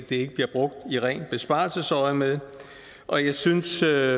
ikke bliver brugt i rent besparelsesøjemed og jeg synes der